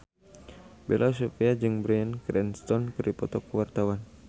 Bella Shofie jeung Bryan Cranston keur dipoto ku wartawan